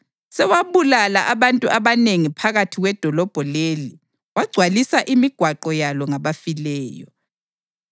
Sewabulala abantu abanengi phakathi kwedolobho leli wagcwalisa imigwaqo yalo ngabafileyo.”